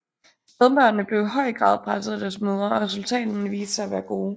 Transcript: Spædbørnene blev i høj grad passet at deres mødre og resultaterne viste sig at være gode